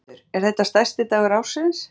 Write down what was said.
Þórhildur: Er þetta stærsti dagur ársins?